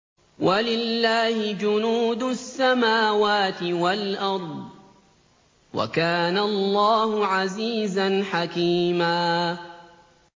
وَلِلَّهِ جُنُودُ السَّمَاوَاتِ وَالْأَرْضِ ۚ وَكَانَ اللَّهُ عَزِيزًا حَكِيمًا